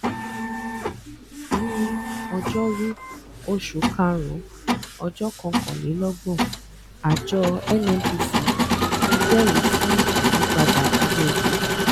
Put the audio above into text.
ní ọjórú oṣù karùnún ọjọkọkànlélọgbọn àjọ N-N-P-C jẹẹrí sí ìyípadà owó epo